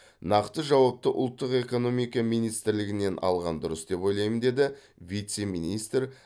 нақты жауапты ұлттық экономика министрлігінен алған дұрыс деп ойлаймын деді вице министр